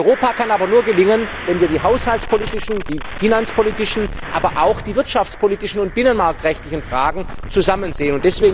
Europa kann aber nur gelingen, wenn wir die haushaltspolitischen, die finanzpolitischen, aber auch die wirtschaftspolitischen und binnenmarktrechtlichen Fragen zusammen sehen.